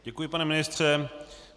Děkuji, pane ministře.